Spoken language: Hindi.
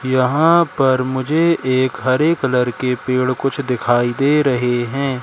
यहां पर मुझे एक हरे कलर के पेड़ कुछ दिखाई दे रहे हैं।